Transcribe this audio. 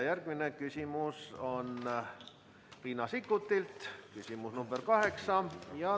Järgmine küsimus on Riina Sikkutilt, küsimus nr 8.